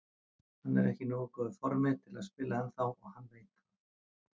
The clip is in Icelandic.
Hann er ekki í nógu góðu formi til að spila ennþá og hann veit það.